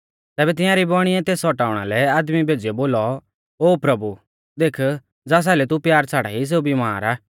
तैबै तियांरी बौइणिऐ तेस औटाउणा लै आदमी भेज़ीयौ बोलौ ओ प्रभु देख ज़ास आइलै तू प्यार छ़ाड़ाई सेऊ बिमार आ